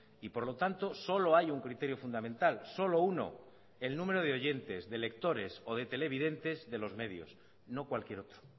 y por lo tanto solo hay un criterio fundamental solo uno el número de oyentes de lectores o de televidentes de los medios no cualquier otro